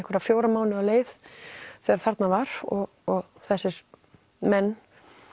fjóra mánuði á leið þegar þarna var og og þessir menn